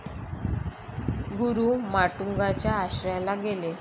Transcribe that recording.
गुरु माटुंगा च्या आश्रयाला गेले